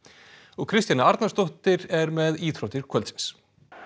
Kristjana Arnarsdóttir er með íþróttir kvöldsins